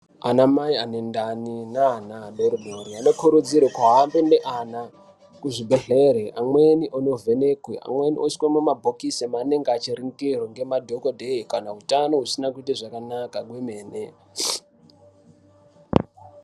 Anamai anendani neana adoodori anokurudzirwe kuhambe neana kuzvibhedhlera amweni anovhenekwe amweni oiswe mumabhokisi anenge achirindirwa ngemadhokodheya kana utano husina kuite kwemene.